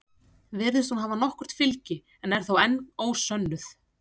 Virðist hún hafa nokkurt fylgi en er þó enn ósönnuð.